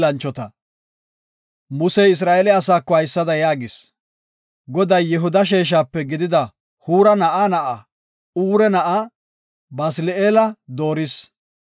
Musey Isra7eele asaako haysada yaagis; “Goday Yihuda sheeshape gidida Huura na7aa na7aa, Ure na7aa, Basili7eela dooris.